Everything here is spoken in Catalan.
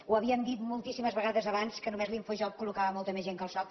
ho havíem dit moltíssimes vegades abans que només l’infojobs collocava molta més gent que el soc